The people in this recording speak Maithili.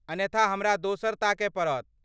अन्यथा हमरा दोसर ताकय पड़त।